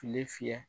Kile fiyɛ